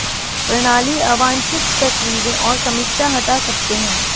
प्रणाली अवांछित तस्वीरें और समीक्षा हटा सकते हैं